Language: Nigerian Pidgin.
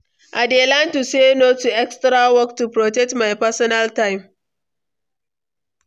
I dey learn to say no to extra work, to protect my personal time.